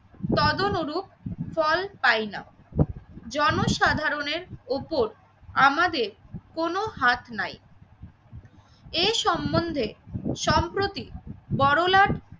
তদনরূপ ফল পাই না। জনসাধারণের ওপর আমাদের কোনো হাত নাই এ সম্বন্ধে সম্প্রতি বড়লাট